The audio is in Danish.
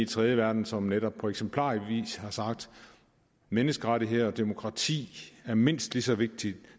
tredje verden som netop på eksemplarisk vis har sagt at menneskerettigheder og demokrati er mindst lige så vigtige